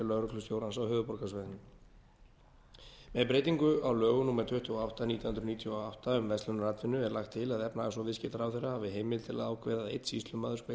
lögreglustjórans á höfuðborgarsvæðinu með breytingu á lögum númer tuttugu og átta nítján hundruð níutíu og átta um verslunaratvinnu er lagt til að efnahags og viðskiptaráðherra hafi heimild til að ákveða að einn sýslumaður veiti